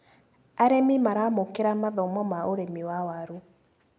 Arĩmi maramũkĩra mathomo ma ũrĩmi wa waru.